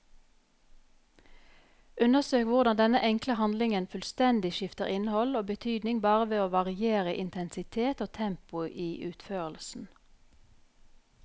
Undersøk hvordan denne enkle handlingen fullstendig skifter innhold og betydning bare ved å variere intensitet og tempo i utførelsen.